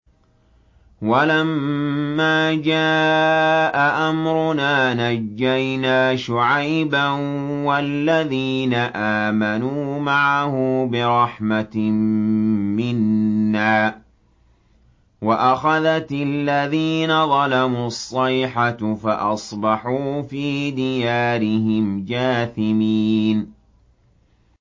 وَلَمَّا جَاءَ أَمْرُنَا نَجَّيْنَا شُعَيْبًا وَالَّذِينَ آمَنُوا مَعَهُ بِرَحْمَةٍ مِّنَّا وَأَخَذَتِ الَّذِينَ ظَلَمُوا الصَّيْحَةُ فَأَصْبَحُوا فِي دِيَارِهِمْ جَاثِمِينَ